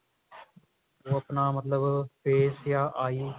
ਆਪਣਾ ਮਤਲਬ face ਯਾ eye